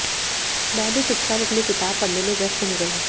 मैं भी चुपचाप अपनी किताब पढऩे में व्यस्त हो गया